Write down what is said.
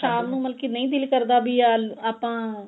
ਸ਼ਾਮ ਨੂੰ ਮਤਲਬ ਕੀ ਨਹੀਂ ਦਿਲ ਕਰਦਾ ਵੀ ਆਪਾਂ